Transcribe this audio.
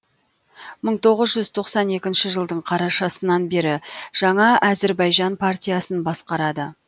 мың тоғыз жүз тоқсан екінші жылдың қарашасынан бері жаңа әзірбайжан партиясын басқарады